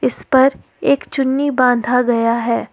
इसपर एक चुन्नी बांधा गया है।